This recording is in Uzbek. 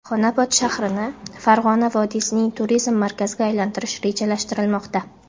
Xonobod shahrini Farg‘ona vodiysining turizm markaziga aylantirish rejalashtirilmoqda.